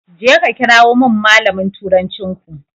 Jeka ka kirawo min malamin turancinku.